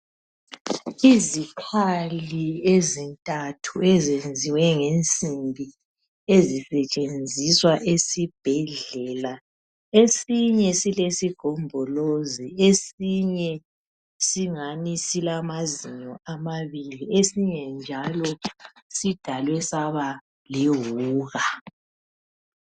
Izikhali ezintathu ezenziwe ngensimbi ezisetshenziswa esibhedlela. Esinye silesigombolozi, esinye singani silamazinyo ababili esinye njalo sidalwe saba lewuka.